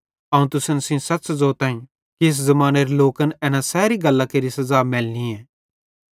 अवं तुसन सेइं सच़ ज़ोताईं कि इस ज़मानेरे लोकन एना सैरी गल्लां केरे सज़ा मैलनी